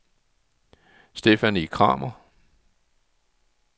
Stephanie Kramer